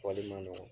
Fɔli man nɔgɔ